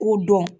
K'o dɔn